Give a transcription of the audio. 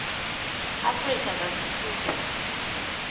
afrika kantsi futsi